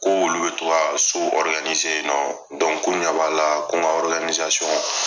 K'olu bɛ to ka so ɔriganize yen nɔ dɔnku k'u ɲɛb'ala ko n ka ɔriganizasɔn